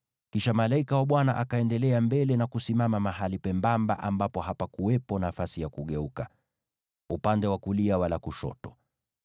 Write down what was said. Kisha malaika wa Bwana akaendelea mbele na kusimama mahali pembamba ambapo hapakuwepo nafasi ya kugeuka, upande wa kulia wala wa kushoto.